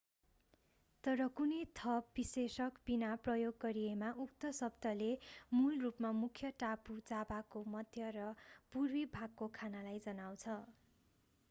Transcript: तर कुनै थप विशेषक बिना प्रयोग गरिएमा उक्त शब्दले मूल रूपमा मुख्य टापु जाभाको मध्य र पूर्वी भागको खानालाई जनाउँछ